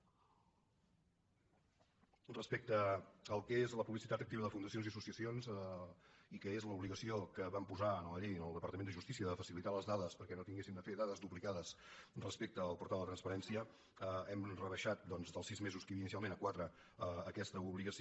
respecte al que és la publicitat activa de fundacions i associacions i que és l’obligació que vam posar en la llei al departament de justícia de facilitar les dades perquè no haguessin de fer dades duplicades respecte al portal de la transparència hem rebaixat doncs dels sis mesos que hi havia inicialment a quatre aquesta obligació